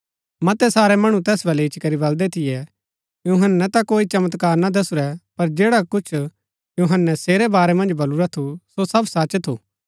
मतै सारै मणु तैस बलै इच्ची करी बलदै थियै यूहन्‍नै ता कोई चमत्कार ना दसुरै पर जैडा कुछ यूहन्‍नै सेरै बारै मन्ज बलुरा थू सो सब सच थू